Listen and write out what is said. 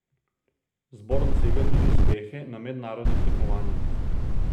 Zbor dosega tudi uspehe na mednarodnih tekmovanjih.